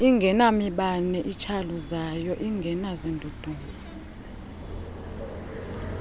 ingenamibane itshawuzayo ingenazindudumo